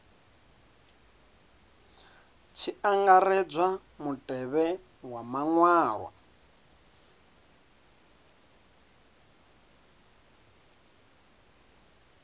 tshi angaredzwa mutevhe wa maṅwalwa